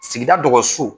Sigida dɔgɔso